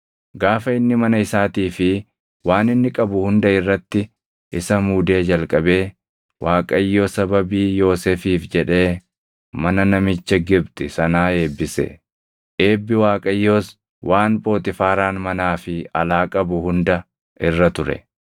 Gaafa inni mana isaatii fi waan inni qabu hunda irratti isa muudee jalqabee Waaqayyo sababii Yoosefiif jedhee mana namicha Gibxi sanaa eebbise. Eebbi Waaqayyoos waan Phoxiifaaraan manaa fi alaa qabu hunda irra ture.